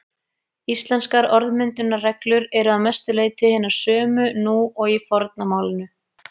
Íslenskar orðmyndunarreglur eru að mestu leyti hinar sömu nú og í forna málinu.